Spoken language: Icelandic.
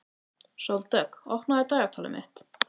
Sóldögg, opnaðu dagatalið mitt.